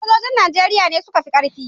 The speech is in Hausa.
Sojojin Najeriya ne suka fi ƙarfi